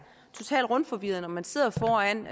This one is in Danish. totalt rundforvirret når man sidder foran